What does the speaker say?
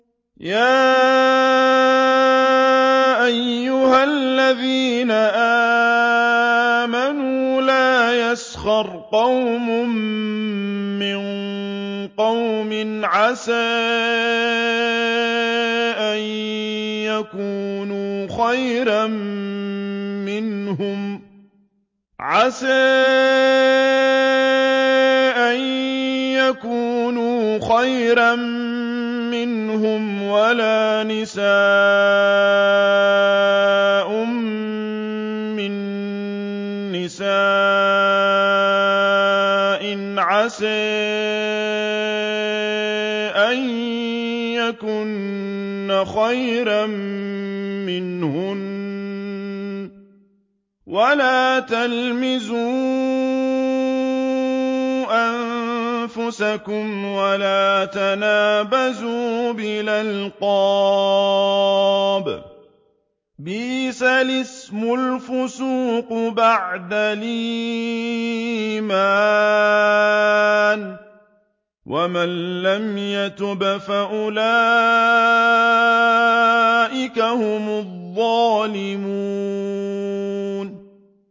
يَا أَيُّهَا الَّذِينَ آمَنُوا لَا يَسْخَرْ قَوْمٌ مِّن قَوْمٍ عَسَىٰ أَن يَكُونُوا خَيْرًا مِّنْهُمْ وَلَا نِسَاءٌ مِّن نِّسَاءٍ عَسَىٰ أَن يَكُنَّ خَيْرًا مِّنْهُنَّ ۖ وَلَا تَلْمِزُوا أَنفُسَكُمْ وَلَا تَنَابَزُوا بِالْأَلْقَابِ ۖ بِئْسَ الِاسْمُ الْفُسُوقُ بَعْدَ الْإِيمَانِ ۚ وَمَن لَّمْ يَتُبْ فَأُولَٰئِكَ هُمُ الظَّالِمُونَ